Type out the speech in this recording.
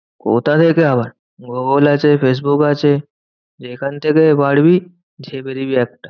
কোথা থেকে আবার? গুগল আছে, ফেসবুক আছে, যেখান থেকে পারবি ঝেপে দিবি একটা।